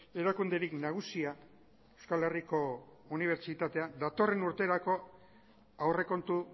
erakunderik nagusia euskal herriko unibertsitatea datorren urterako aurrekontu